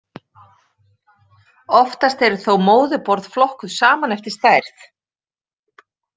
Oftast eru þó móðurborð flokkuð saman eftir stærð.